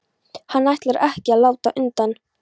Hann ætlar ekki að láta undan.